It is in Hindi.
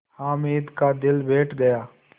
हामिद का दिल बैठ गया